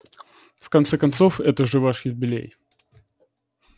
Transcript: в конце концов это же ваш юбилей